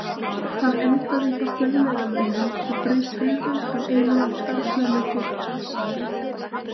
Hann endaði hjá fjölmiðlamönnum og braut tölvu hjá einum af starfsmönnum félagsins.